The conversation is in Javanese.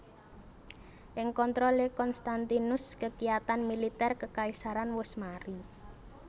Ing kontrolé Konstantinus kekiyatan militer kekaisaran wus mari